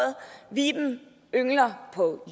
viben yngler på